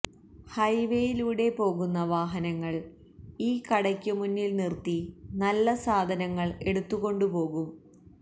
ഹൈവേയിലൂടെ പോകുന്ന വാഹനങ്ങള് ഈ കടയ്ക്കുമുന്നില് നിര്ത്തി നല്ല സാധനങ്ങള് എടുത്തുകൊണ്ടുപോകും